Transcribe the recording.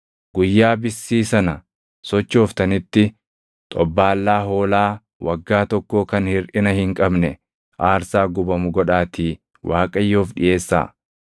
Guyyaa bissii sana sochooftanitti, xobbaallaa hoolaa waggaa tokkoo kan hirʼina hin qabne aarsaa gubamu godhaatii Waaqayyoof dhiʼeessaa;